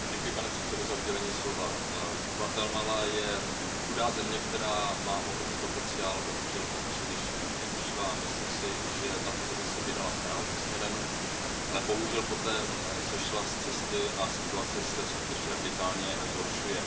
Pane předsedající, Guatemala je chudá země, která má ohromný potenciál, ale bohužel ho příliš nevyužívá. Myslím si, že tato země se vydala správným směrem, ale bohužel poté sešla z cesty a situace se skutečně radikálně zhoršuje.